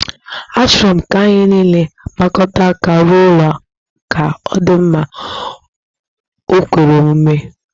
Achọrọ m ka anyị nile gbakọta aka rụọ ụlọ ka ọ dị mma, o kwere omume?